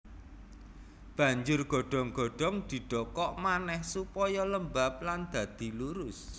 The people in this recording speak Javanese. Banjur godhong godhong didokok manèh supaya lembab lan dadi lurus